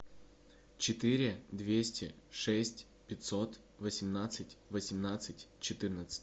четыре двести шесть пятьсот восемнадцать восемнадцать четырнадцать